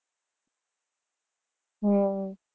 હમ